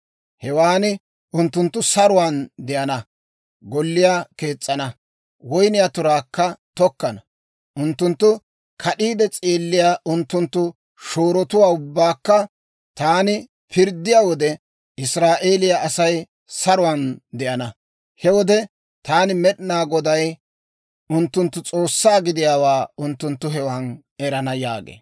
Hewan unttunttu saruwaan de'ana; golliyaa kees's'ana; woyniyaa turaakka tokkana. Unttuntta kad'iide s'eelliyaa unttunttu shoorotuwaa ubbaakka taani pirddiyaa wode, Israa'eeliyaa Asay saruwaan de'ana. He wode taani Med'inaa Goday unttunttu S'oossaa gidiyaawaa unttunttu hewan erana» yaagee.